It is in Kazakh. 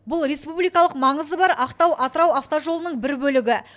бұл республикалық маңызы бар ақтау атырау автожолының бір бөлігі